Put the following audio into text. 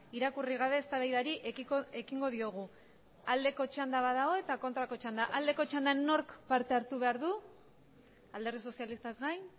irakurri gabe eztabaidari ekingo diogu aldeko txanda badago eta kontrako txanda aldeko txandan nork parte hartu behar du alderdi sozialistaz gain